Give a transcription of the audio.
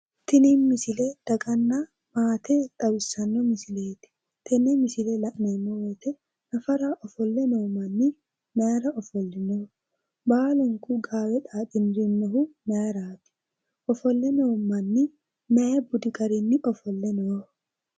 Tini misile daganna maate xawissanno misileeti. Tenne misile la'neemmo woyite nafara ofolle noo manni mayira ofollino? Baalunku gaawe xaaxirinohu mayiraati? Mayi budi garinni ofolle nooho?